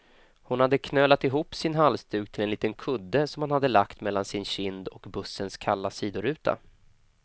Hon hade knölat ihop sin halsduk till en liten kudde, som hon hade lagt mellan sin kind och bussens kalla sidoruta.